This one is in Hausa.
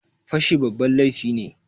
Fashi babban laifi ne.